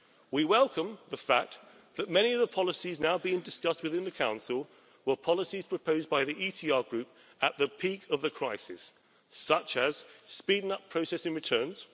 We welcome the fact that many of the policies now being discussed within the Council were policies proposed by the ECR Group at the peak of the crisis, such as speeding up processing returns